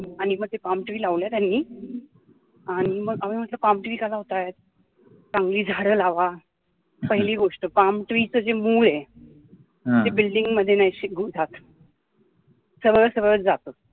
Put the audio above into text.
आणि म ते palm tree लावलेत आणि, आणि मग आम्ही म्हटलं palm tree का लावतायत, चांगली झाडं लावा, पहिली गोष्ट palm tree चं जे मूळ आहे ते building मध्ये नाही टिकून राहत, सगळं सगळं जातं